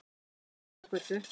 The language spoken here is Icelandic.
Sæunnargötu